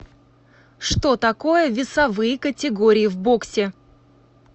что такое весовые категории в боксе